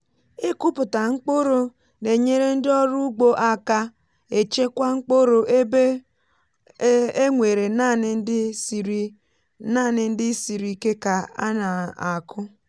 ịkụpụta mkpụrụ na-enyere ndị ọrụ ugbo aka e chekwa mkpụrụ ebe e nwere naanị ndị siri naanị ndị siri ike ka a na-akụ.